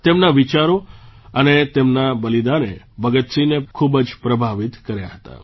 તેમના વિચારો અને તેમના બલિદાને ભગતસિંહને ખૂબ જ પ્રભાવિત કર્યા હતા